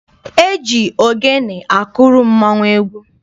E ji ogene akụrụ mmọnwụ egwu.